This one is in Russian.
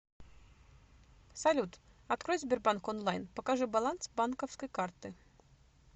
салют открой сбербанк онлайн покажи баланс банковской карты